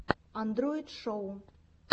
андроит шоу